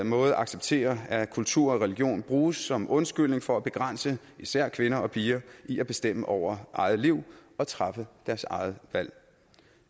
måde acceptere at kultur og religion bruges som undskyldning for at begrænse især kvinder og piger i at bestemme over eget liv og træffe deres eget valg